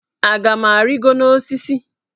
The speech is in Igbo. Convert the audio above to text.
Aga m arịgo n'osisi?